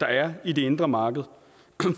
der er i det indre marked